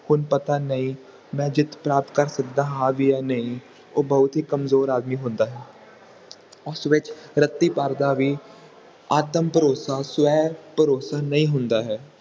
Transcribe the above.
ਹੁਣ ਪਤਾ ਨਹੀਂ ਮੈਂ ਜਿੱਤ ਪ੍ਰਾਪਤ ਕਰ ਸਕਦਾ ਹਾਂ ਵੀ ਕਿ ਨਹੀਂ ਉਹ ਬਹੁਤ ਕਮਜ਼ੋਰ ਆਦਮੀ ਹੁੰਦਾ ਹੈ ਉਸ ਵਿਚ ਰੱਤੀ ਭਰ ਦਾ ਵੀ ਆਤਮ ਭਰੋਸਾ ਸਵੈ ਭਰੋਸਾ ਨਹੀਂ ਹੁੰਦਾ ਹੈ